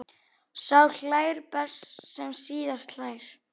Sá hlær best sem síðast hlær!